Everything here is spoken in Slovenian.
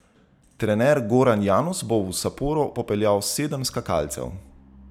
Trener Goran Janus bo v Saporo popeljal sedem skakalcev.